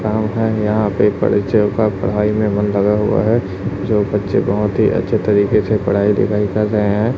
यहां पे बच्चों का पढ़ाई में मन लगा हुआ है जो बच्चे बहोत ही अच्छे तरीके से पढ़ाई लिखाई कर रहे हैं।